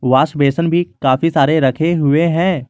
Wash basin भी काफी सारे रखे हुए हैं।